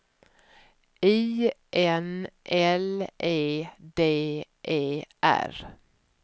I N L E D E R